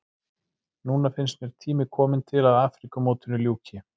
Núna finnst mér tími kominn til að Afríkumótinu ljúki.